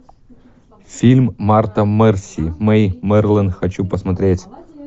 фильм марта марси мэй марлен хочу посмотреть